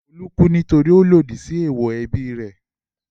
Olú kú nítorí ó lòdì sí èèwọ̀ ẹbí rẹ̀.